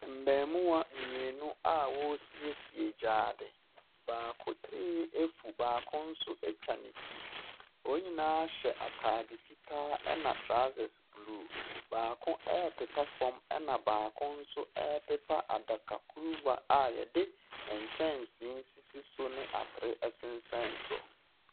Mmarimaa mmienu a wɔresiesie gyaade. Baako tirinwi afu, baako nso atwa ne ti. Wɔn nyinaa hyɛ atade fitaa, ɛna trousers blue. Baako repepa fam, ɛna baako nso repepa adaka kuruwa a wɔde nkyɛnsee sisi so ne atere sensɛn so.